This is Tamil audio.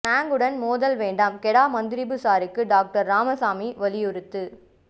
பினாங்குடன் மோதல் வேண்டாம் கெடா மந்திரிபுசாருக்கு டாக்டர் ராமசாமி வலியுறுத்து